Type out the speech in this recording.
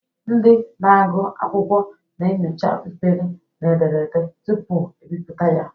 Ndị na-agụ akwụkwọ na-enyocha mperi na ederede tupu ebipụta ya.